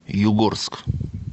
югорск